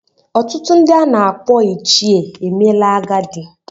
Ọtụtụ ndị a na-akpọ ichie emeela agadi.